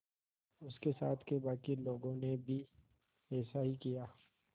उसके साथ के बाकी लोगों ने भी ऐसा ही किया